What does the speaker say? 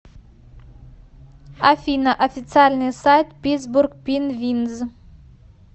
афина официальный сайт питтсбург пинвинз